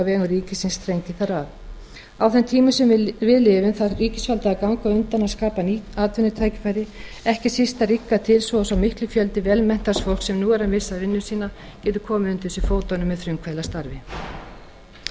vegum ríkisins þrengi þar að á þeim tímum sem við lifum þarf ríkisvaldið að ganga á undan og skapa ný atvinnutækifæri ekki síst að rýmka til svo að sá mikli fjöldi vel menntaðs fólks sem nú er að missa vinnu sína geti komið undir sig fótunum með frumkvöðlastarfi eins